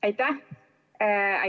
Aitäh!